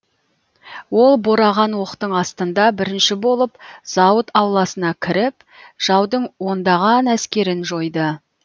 ол бораған оқтың астында бірінші болып зауыт ауласына кіріп жаудың ондаған әскерін жойды